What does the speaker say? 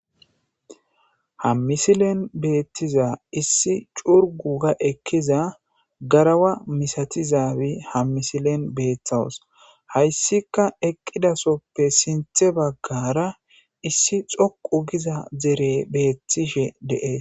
Ha misilen beettiza issi curgu ga ekkiza garawa misatizaawi hammisilen beeththawus hayssika eqqidasoppe sinthe baggara issi xoqu giza zere beettishe deees.